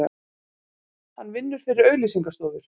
Hann vinnur fyrir auglýsinga stofur.